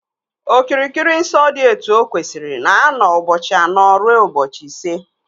Okirikiri nsọ dị etu o kwesịrị na-anọ ụbọchị anọ rue ụbọchị ise